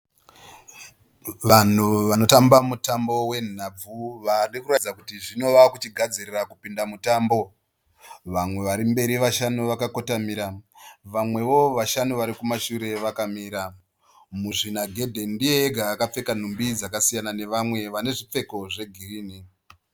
Vanhu vanotamba mutambo wenhabvu vari kuratidza kuti zvino vava kuchigadzirira kupinda mutambo. Vamwe varimberi vashanu vakakotamira. Vamwewo vashanu vari kumashure vakamira. Muzvinagedhe ndiye ega akapfeka nhumbi dzakasiyana nevamwe vane zvipfeko zvegirinhi.